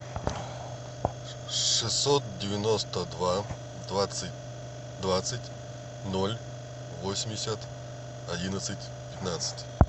шестьсот девяносто два двадцать двадцать ноль восемьдесят одиннадцать пятнадцать